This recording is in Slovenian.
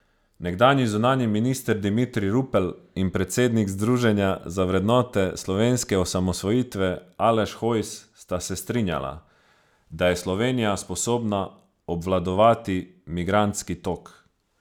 Nekdanji zunanji minister Dimitrij Rupel in predsednik Združenja za vrednote slovenske osamosvojitve Aleš Hojs sta se strinjala, da je Slovenija sposobna obvladovati migrantski tok.